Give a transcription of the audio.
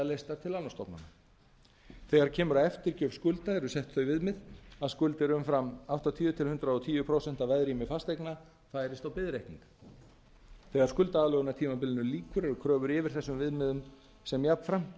leystar til lánastofnana þegar kemur að eftirgjöf skulda eru sett þau viðmið að skuldir umfram áttatíu til hundrað og tíu prósent af veðrými fasteigna færist á biðreikning þegar skuldaaðlögunartímabilinu lýkur eru kröfur yfir þessum viðmiðum sem jafnframt